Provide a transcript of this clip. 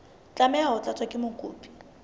tlameha ho tlatswa ke mokopi